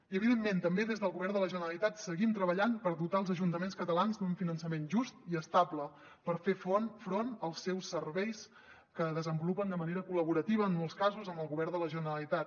i evidentment també des del govern de la generalitat seguim treballant per dotar els ajuntaments catalans d’un finançament just i estable per fer front als seus serveis que desenvolupen de manera col·laborativa en molts casos amb el govern de la generalitat